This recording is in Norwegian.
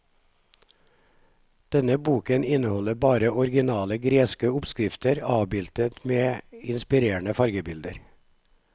Denne boken inneholder bare originale greske oppskrifter avbildet med inspirerende fargebilder.